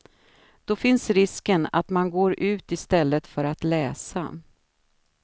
Då finns risken att man går ut i stället för att läsa.